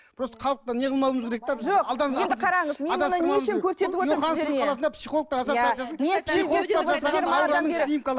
просто халықты не қылмауымыз керек те біз йоханнесбург қаласында психологтар